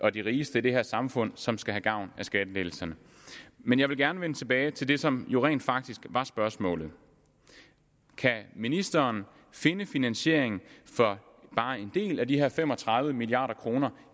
er de rigeste i det her samfund som skal have gavn af skattelettelserne men jeg vil gerne vende tilbage til det som jo rent faktisk var spørgsmålet kan ministeren finde finansiering for bare en del af de her fem og tredive milliard kroner